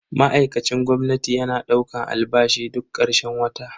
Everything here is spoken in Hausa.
Ma'aikacin gwamnati yana daukan albashi duk karshen wata.